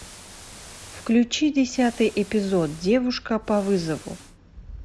включи десятый эпизод девушка по вызову